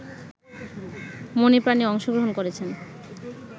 মনেপ্রাণে অংশগ্রহণ করেছেন